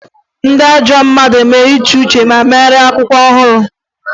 Ndị iro ruo asaa abụọ e gowe Ụfọdụ egowe.